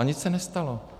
A nic se nestalo.